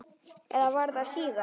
Eða var það síðar?